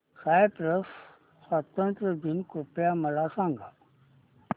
Cyprus स्वातंत्र्य दिन कृपया मला सांगा